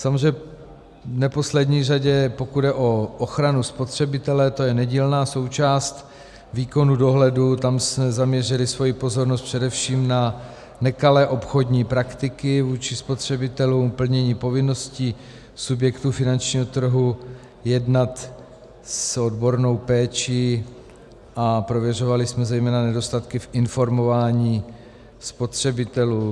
Samozřejmě v neposlední řadě pokud jde o ochranu spotřebitele, to je nedílná součást výkonu dohledu, tam jsme zaměřili svoji pozornost především na nekalé obchodní praktiky vůči spotřebitelům, plnění povinností subjektů finančního trhu jednat s odbornou péčí, a prověřovali jsme zejména nedostatky v informování spotřebitelů.